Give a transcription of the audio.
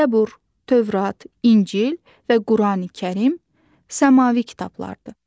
Zəbur, Tövrat, İncil və Qurani-Kərim səmavi kitablardır.